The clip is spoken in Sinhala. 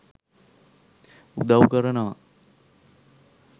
උදව් කරනවා.